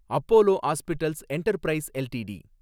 Apollo Hospitals Enterprise LTD